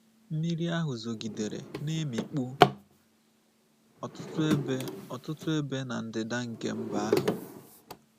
Mmiri ahụ zogidere, na-emikpu ọtụtụ ebe ọtụtụ ebe n'ndịda nke mba ahụ.